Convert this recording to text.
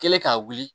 Kɛlen k'a wuli